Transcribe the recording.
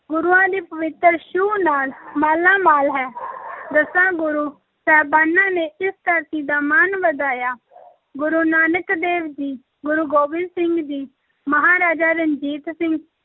ਗੁਰੂਆਂ ਦੀ ਪਵਿੱਤਰ ਛੂਹ ਨਾਲ ਮਾਲਾਮਾਲ ਹੈ ਦਸਾਂ ਗੁਰੂ ਸਾਹਿਬਾਨਾਂ ਨੇ ਇਸ ਧਰਤੀ ਦਾ ਮਾਣ ਵਧਾਇਆ ਗੁਰੂ ਨਾਨਕ ਦੇਵ ਜੀ, ਗੁਰੂ ਗੋਬਿੰਦ ਸਿੰਘ ਜੀ, ਮਹਾਰਾਜਾ ਰਣਜੀਤ ਸਿੰਘ,